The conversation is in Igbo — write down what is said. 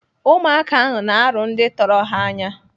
Ụmụaka ahụ na-arụ ndị tọrọ ha anya.